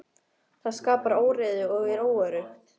Það skapar óreiðu og er óöruggt.